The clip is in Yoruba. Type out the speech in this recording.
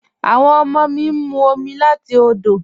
Awọn ọmọ mi ń mú omi láti òdò